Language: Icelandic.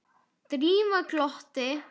Drífa glotti.